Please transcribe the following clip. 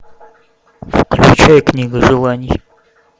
включай книга желаний